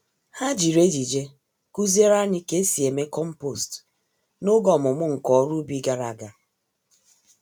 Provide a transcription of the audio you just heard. Ha jiri ejije kuziere anyị K'esi eme kompost n'oge ọmụmụ nka-oru-ubi gàrà ágá.